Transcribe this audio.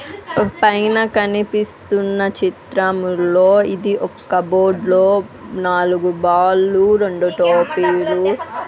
పైన కనిపిస్తున్న చిత్రములో ఇది ఒక్క బోర్డ్లో నాలుగు బాల్లు రెండు టోపీలు.